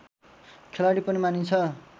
खेलाडी पनि मानिन्छ